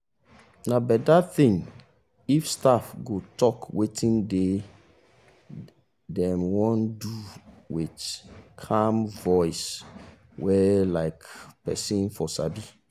na better thing if staff go talk wetin dem wan do with calm voice wey um person for sabi.